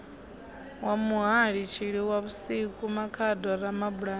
wa muhali tshilwavhusiku makhado ramabulana